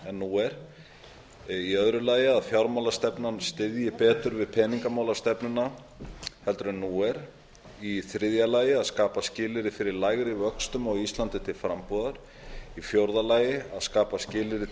en nú er b að fjármálastefnan styðji betur við peningamálastefnuna en nú er c að skapa skilyrði fyrir lægri vöxtum á íslandi til frambúðar d að skapa skilyrði